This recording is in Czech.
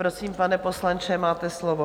Prosím, pane poslanče, máte slovo.